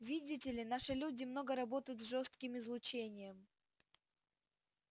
видите ли наши люди много работают с жёстким излучением